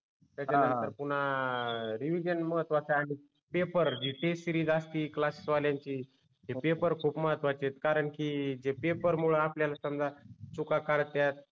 त्याच्यानंतर पुन्हा रिविजन महत्वच आहे आणि पेपर जे टेस्ट सिरीज असती क्लास वाल्यांची ते पेपर खुब महत्वाचे आहे कारण की जे पेपरमूळ आपल्याला समझा चुका कळत्या